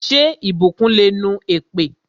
Ṣé ìbùkún le nu èpè?